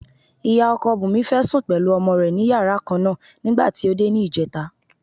Ìyá ọkọ Bùnmi fẹ́ sùn pẹ̀lú ọmọ rẹ̀ ní yàrá kan náà nígbà tí ó dé ní ìjẹta.